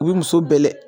U bɛ muso bɛ dɛɛ